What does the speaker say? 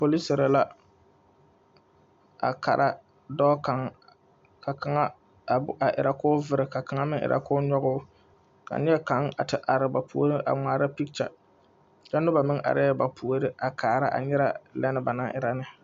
Poliseere la a kara dɔɔ kaŋa ka kaŋa a erɛ o vere ka kaŋa mine erɛ o kyoge o ka neɛ kaŋa a te are ba puori a ŋmaara picture kyɛ noba mine areŋ ba puoriŋ a kaara nyɛrɛ lɛ ba naŋ erɛ ne